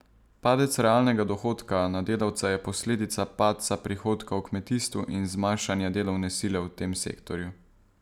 Padec realnega dohodka na delavca je posledica padca prihodka v kmetijstvu in zmanjšanja delovne sile v tem sektorju.